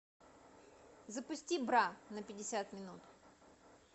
запусти бра на пятьдесят минут